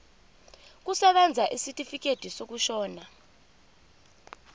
kusebenza isitifikedi sokushona